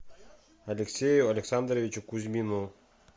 алексею александровичу кузьмину